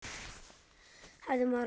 Hefði maður haldið.